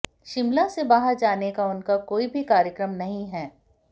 शिमला से बाहर जाने का उनका कोई भी कार्यक्रम नहीं है